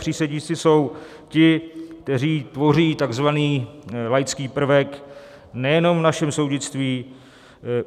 Přísedící jsou ti, kteří tvoří takzvaný laický prvek nejenom v našem soudnictví.